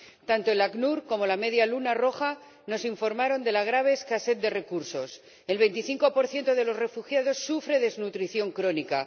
Tanto el ACNUR como la Media Luna Roja nos informaron de la grave escasez de recursos el 25 de los refugiados sufre desnutrición crónica.